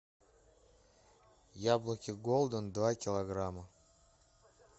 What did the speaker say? яблоки голден два килограмма